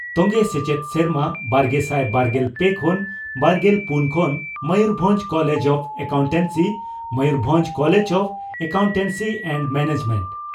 ᱛᱚᱝᱜᱮ ᱥᱮᱪᱮᱫ ᱥᱮᱨᱢᱟ ᱵᱟᱨᱜᱮᱥᱟᱭ ᱵᱟᱨᱜᱮᱞ ᱯᱮ ᱠᱷᱚᱱ ᱵᱟᱨᱜᱮᱞ ᱯᱩᱱ ᱠᱷᱚᱱ Mayurbhanj college of accountancy (Mayurbhanj college of accountancy and management